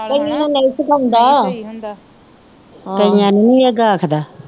ਕਈਆਂ ਨੂੰ ਨਹੀਂ ਇਹ ਗਾਖਦਾ